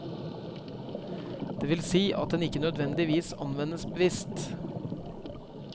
Det vil si at den ikke nødvendigvis anvendes bevisst.